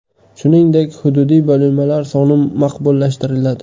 Shuningdek, hududiy bo‘linmalar soni maqbullashtiriladi.